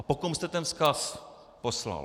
A po kom jste ten vzkaz poslal?